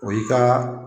O y'i ka